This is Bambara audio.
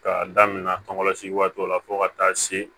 K'a daminɛ tɔŋɔsi waatiw la fo ka taa se